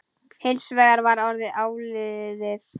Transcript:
Hins vegar var orðið áliðið.